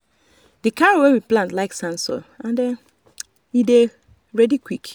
the carrot we dey plant like sand soil and e dey ready quick.